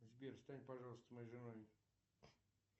сбер стань пожалуйста моей женой